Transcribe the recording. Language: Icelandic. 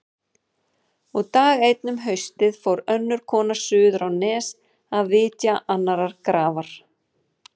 Og dag einn um haustið fór önnur kona suður á Nes að vitja annarrar grafar.